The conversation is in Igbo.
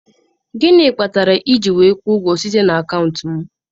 Gịnị kpatara ị ga-eji kwụọ ụgwọ site n'akaụntụ m?